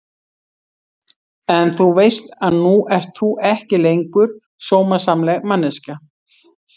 En þú veist að nú ert þú ekki lengur sómasamleg manneskja.